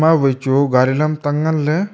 awai chu gari lamtang ngan ley.